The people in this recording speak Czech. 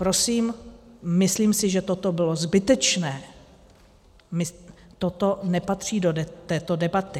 Prosím, myslím si, že toto bylo zbytečné, toto nepatří do této debaty.